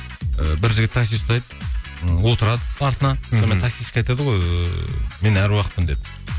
і бір жігіт такси ұстайды ы отырады артына сонымен таксистке айтады ғой ыыы мен әруақпын деп